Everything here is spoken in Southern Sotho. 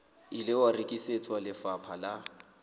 ile wa rekisetswa lefapha la